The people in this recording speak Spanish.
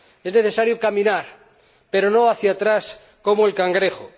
Es necesario caminar, pero no hacia atrás como el cangrejo.